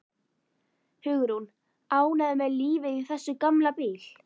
Hugrún: Ánægður með lífið í þessum gamla bíl?